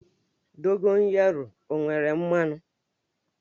Dogoyaru o nwere mmanụ?